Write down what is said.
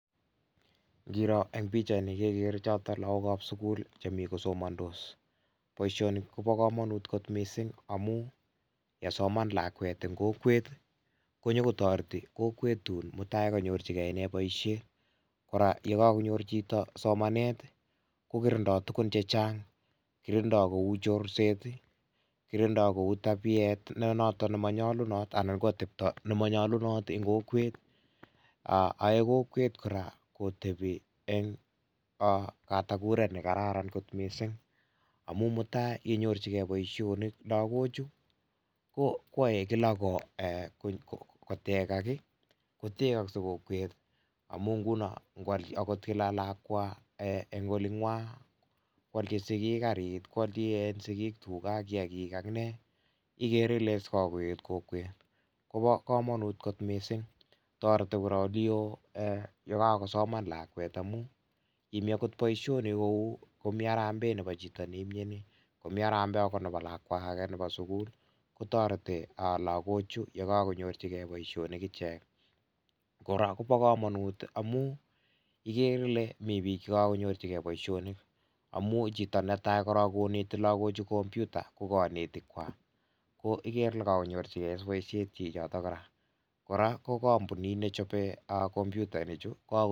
Ngiro en pichaini kekere chotok lagok ap sukul chemi kosomandos. Poishoni ko pa kamanut missing' amu yekasoman lakwet eng' kokweet konyukotareti kokweet tun mutai kanyorchigei ine poishet. Kora kokakonyor chito somanet kokirindoi tuguuk che chang', kirindoi kou chorseet ii, kirindoi kou tapiet ne notok nemanyalunat anan ko atepto nemanyalunat eng' kokweet. Ae kokweet kotepi eng katatakureet ne kararan kot missing' amu mutai yenyorchigei poishonik lagochu koae ki ko kotekak i, kotekaksei kokweet amu ngo al agot lakwa eng' oling'wa, koalchi sikiik kariit, ko alchi sikiik tuga, kiakiik ak nee, igere ile sa koeet kokweet kopa kamanuut kot missing'. Tareti kora oli oo kokakosoman lakweet amu yemi agot poishonik kou harambee nepo chito nemiani, komi agot harambee nepo lakwa age nepo sukul kotareti lagoochu yekakonyorchigei poishonik ichek. Kora ko pa kamanuut amu igere ile mitei piik che kakonyorchigei poishonik amu chito netai korook koneti lagochu kompyuta ko kanetiik kwak, ko igere ile kakonyorchigei kora. Kora ko kampuniit ne chope komputainichu...